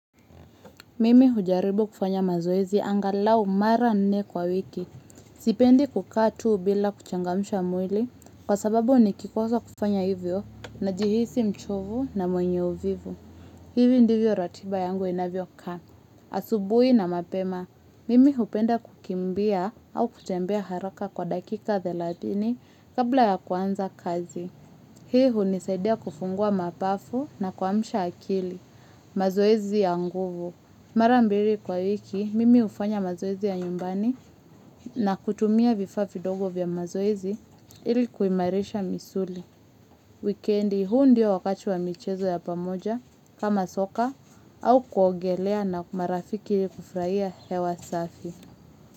Mimi hujaribu kufanya mazoezi angalau mara nne kwa wiki. Sipendi kukaa tu bila kuchangamsha mwili kwa sababu nikikosa kufanya hivyo najihisi mchovu na mwenye uvivu. Hivi ndivyo ratiba yangu inavyokaa. Asubuhi na mapema. Mimi hupenda kukimbia au kutembea haraka kwa dakika thelathini kabla ya kuanza kazi. Hii hunisaidia kufungua mapafu na kuamsha akili. Mazoezi ya nguvu. Mara mbili kwa wiki, mimi hufanya mazoezi ya nyumbani na kutumia vifaa vidogo vya mazoezi ili kuimarisha misuli. Wikendi, huu ndio wakati wa michezo ya pamoja kama soka au kuogelea na marafiki ili kufurahia hewa safi.